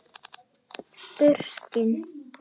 Burkni